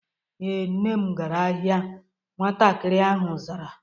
Ee, Nne m gara ahịa. Nwatakịrị ahụ zara